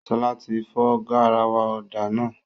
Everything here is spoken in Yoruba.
Ṣọlá ti fọ garawa ọ̀dà náà